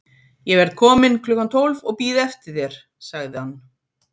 Ég verð kominn klukkan tólf og bíð eftir þér sagði hann.